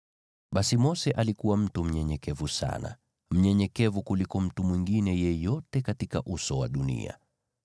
(Basi Mose alikuwa mtu mnyenyekevu sana, mnyenyekevu kuliko mtu mwingine yeyote katika uso wa dunia.)